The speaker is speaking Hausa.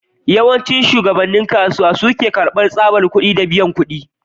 Yawancin shagunan kasuwa suna karbar tsabar kudi da biyan kudi.